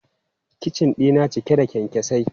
Kicin dina cike da kyankyasai.